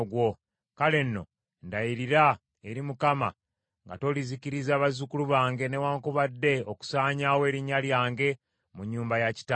Kale nno ndayirira eri Mukama , nga tolizikiriza bazzukulu bange newaakubadde okusaanyaawo erinnya lyange mu nnyumba ya kitange.”